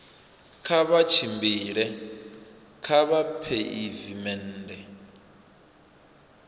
kha vha tshimbile kha pheivimennde